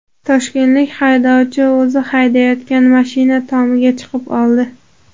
Toshkentlik haydovchi o‘zi haydayotgan mashina tomiga chiqib oldi .